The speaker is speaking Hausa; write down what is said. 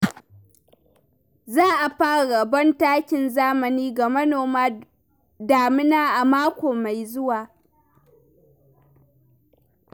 Za a fara rabon takin zamani ga manoman damina a mako mai zuwa.